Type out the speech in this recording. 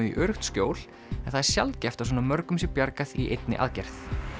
í öruggt skjól en það er sjaldgæft að svona mörgum sé bjargað í einni aðgerð